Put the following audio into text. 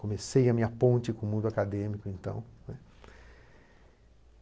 Comecei a minha ponte com o mundo acadêmico então, né.